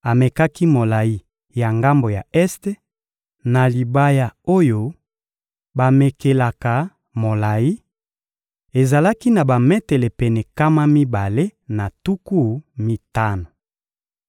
Amekaki molayi ya ngambo ya este na libaya oyo bamekelaka molayi: ezalaki na bametele pene nkama mibale na tuku mitano.